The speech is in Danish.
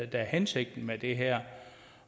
der er hensigten med det her